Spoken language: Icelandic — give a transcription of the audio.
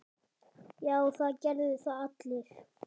Já, það gerðu það allir.